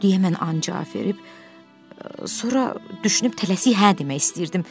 deyə mən ancaq cavab verib sonra düşünüb tələsik hə demək istəyirdim.